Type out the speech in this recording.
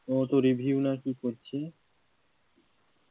ও তো না কি করছে